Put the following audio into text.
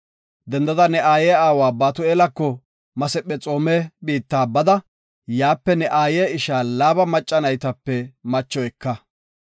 Dendada ne aaye aawa Batu7eelako Masephexoome biitta bada yaape ne aaye isha Laaba macca naytape macho eka.